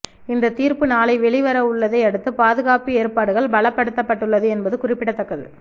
இந்த தீர்ப்பு நாளை வெளிவரவுள்ளதை அடுத்து பாதுகாப்பு ஏற்பாடுகள் பலப்படுத்தப்பட்டுள்ளது என்பது குறிப்பிடத்தக்கது